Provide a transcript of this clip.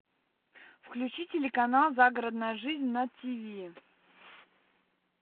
включи телеканал загородная жизнь на тв